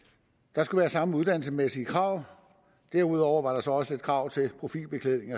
der skulle være samme uddannelsesmæssige krav derudover var der så også nogle krav til profilbeklædning